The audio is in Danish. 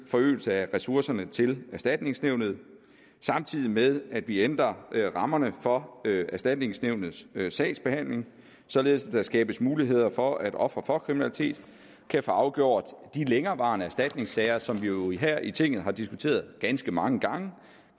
forøgelse af ressourcerne til erstatningsnævnet samtidig med at vi ændrer rammerne for erstatningsnævnets sagsbehandling således at der skabes mulighed for at ofre for kriminalitet kan få afgjort de længerevarende erstatningssager som vi jo her i tinget har diskuteret ganske mange gange